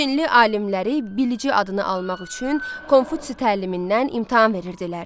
Çinli alimləri bilici adını almaq üçün Konfutsi təlimindən imtahan verirdilər.